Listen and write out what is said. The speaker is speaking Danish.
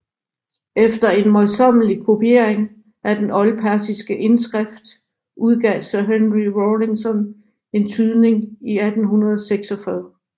Efter en møjsommelig kopiering af den oldpersiske indskrift udgav Sir Henry Rawlinson en tydning i 1846